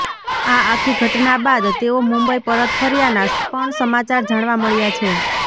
આ આખી ઘટના બાદ તેઓ મુંબઈ પરત ફર્યાના પણ સમાચાર જાણવા મળ્યા છે